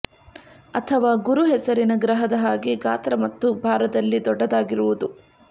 ಅಥವ ಗುರು ಹೆಸರಿನ ಗ್ರಹದ ಹಾಗೆ ಗಾತ್ರ ಮತ್ತು ಭಾರದಲ್ಲಿ ದೊಡ್ಡದಾಗಿರುವುದು